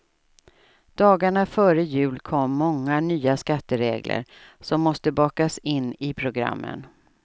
Dagarna före jul kom många nya skatteregler som måste bakas in i programmen.